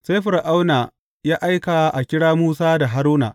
Sai Fir’auna ya aika a kira Musa da Haruna.